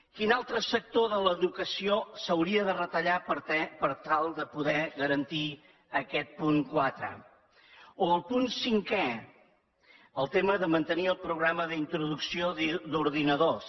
quin altre sector de l’educació s’hauria de retallar per tal de poder garantir aquest punt quatre o el punt cinquè el tema de mantenir el programa d’introducció d’ordinadors